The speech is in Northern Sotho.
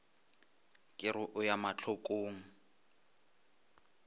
ka re o ya mahlokong